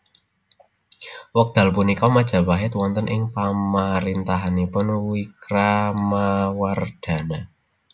Wekdal punika Majapait wonten ing pamarintahanipun Wikramawardhana